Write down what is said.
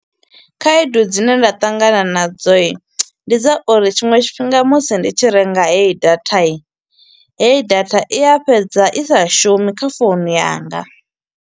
Khaedu dzine nda ṱangana nadzo, ndi dza uri tshiṅwe tshifhinga musi ndi tshi renga heyi data. Heyi data, i ya fhedza i sa shumi kha founu yanga.